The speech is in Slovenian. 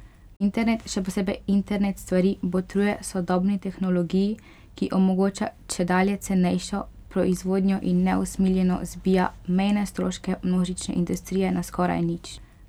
Internet, še posebej internet stvari, botruje sodobni tehnologiji, ki omogoča čedalje cenejšo proizvodnjo in neusmiljeno zbija mejne stroške množične industrije na skoraj nič.